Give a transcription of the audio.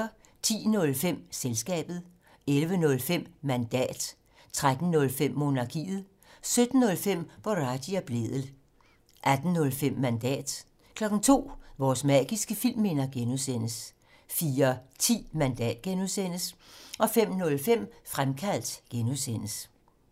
10:05: Selskabet 11:05: Mandat 13:05: Monarkiet 17:05: Boraghi og Blædel 18:05: Mandat 02:00: Vores magiske filmminder (G) 04:10: Mandat (G) 05:05: Fremkaldt (G)